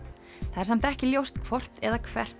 það er samt ekki ljóst hvort eða hvert